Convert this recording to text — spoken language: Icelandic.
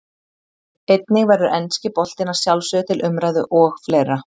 Einnig verður enski boltinn að sjálfsögðu til umræðu og fleira.